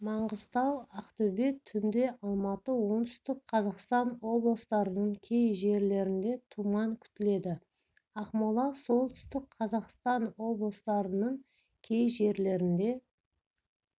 маңғыстау ақтөбе түнде алматы оңтүстік қазақстан облыстарының кей жерлерінде тұман күтіледі ақмола солтүстік қазақстаноблыстарының кей жерлерінде